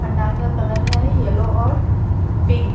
पंडाल का कलर है येल्लो और पिंक ।